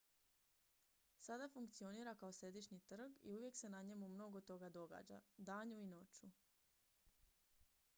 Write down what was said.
sada funkcionira kao središnji trg i uvijek se na njemu mnogo toga događa danju i noću